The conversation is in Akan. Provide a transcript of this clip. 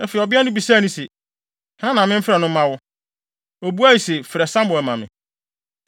Afei, ɔbea no bisae se, “Hena na memfrɛ no mma wo?” Obuae se, “Frɛ Samuel ma me.”